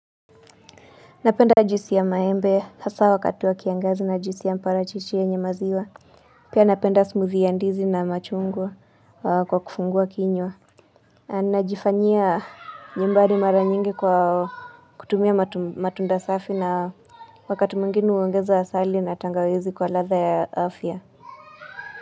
Napenda juisi ya maembe, hasa wakati wa kiangazi na juisi ya mparachichi yenye maziwa Pia napenda smoothie ya ndizi na machungwa kwa kufungua kinywa Najifanyia nyumbani mara nyingi kwa kutumia matunda safi na wakati mwingine uongeza asali na tangawizi kwa ladha ya afya.